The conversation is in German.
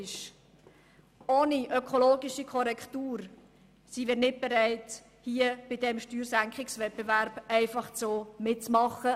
Ohne eine ökologische Korrektur sind wir nicht bereit, bei diesem Steuersenkungswettbewerb mitzumachen.